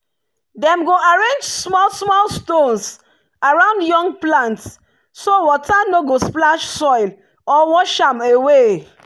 dem go arrange small-small stones around young plants so water no go splash soil or wash am away.